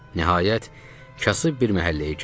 Nəhayət, kasıb bir məhəlləyə girdik.